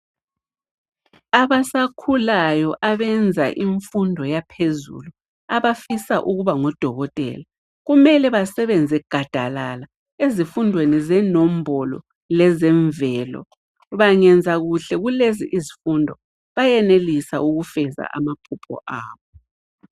Abasakhulayo abenza imfundo yaphezulu, abafisa ukuba ngodokotela, kumele basebenze gadalala ezifundweni zenombolo leze mvelo. Bangenza kuhle kulezi izifundo bayenelisa ukufeza amaphupho abo.